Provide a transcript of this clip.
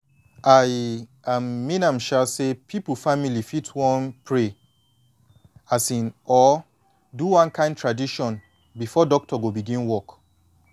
i um mean am um say people family fit wan pray um or do one kin tradition before doctor go begin work